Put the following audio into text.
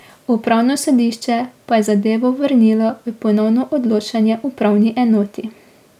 Upravno sodišče pa je zadevo vrnilo v ponovno odločanje upravni enoti.